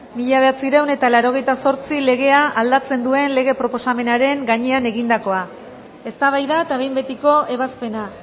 mila bederatziehun eta laurogeita zortzi legea aldatzen duen lege proposamenaren gainean egindakoa eztabaida eta behin betiko ebazpena